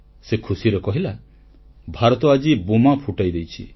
ସେ ଖୁସିରେ କହିଲା ଭାରତ ଆଜି ବୋମା ଫୁଟାଇ ଦେଇଛି